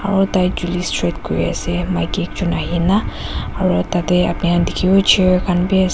aro tai chuli straight kuriase maki ekjon ahina aro tatae apni khan dikhiwo chair khan bi ase.